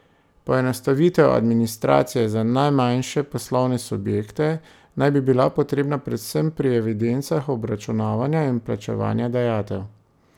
Poenostavitev administracije za najmanjše poslovne subjekte naj bi bila potrebna predvsem pri evidencah obračunavanja in plačevanja dajatev.